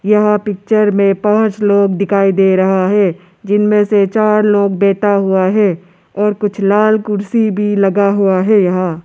यहां पिक्चर में पांच लोग दिखाई दे रहा है जिनमें से चार लोग बैठा हुआ है और कुछ लाल कुर्सी भी लगा हुआ है यहां।